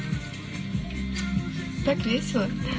гк весело